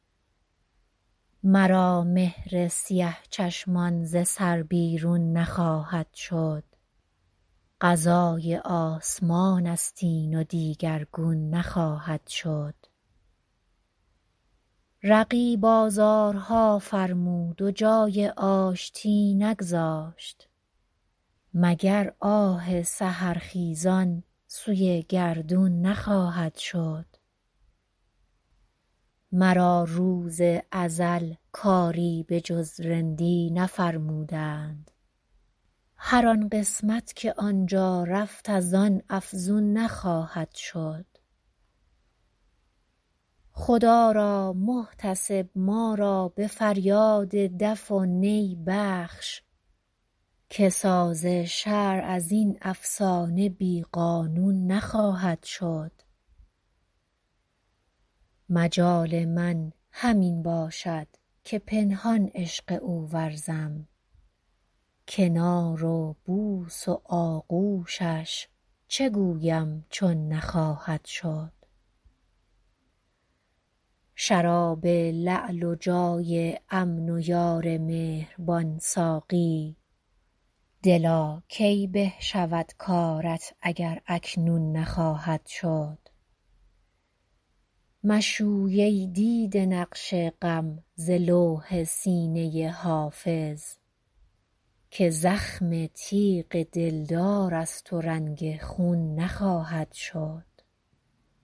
مرا مهر سیه چشمان ز سر بیرون نخواهد شد قضای آسمان است این و دیگرگون نخواهد شد رقیب آزارها فرمود و جای آشتی نگذاشت مگر آه سحرخیزان سوی گردون نخواهد شد مرا روز ازل کاری به جز رندی نفرمودند هر آن قسمت که آن جا رفت از آن افزون نخواهد شد خدا را محتسب ما را به فریاد دف و نی بخش که ساز شرع از این افسانه بی قانون نخواهد شد مجال من همین باشد که پنهان عشق او ورزم کنار و بوس و آغوشش چه گویم چون نخواهد شد شراب لعل و جای امن و یار مهربان ساقی دلا کی به شود کارت اگر اکنون نخواهد شد مشوی ای دیده نقش غم ز لوح سینه حافظ که زخم تیغ دلدار است و رنگ خون نخواهد شد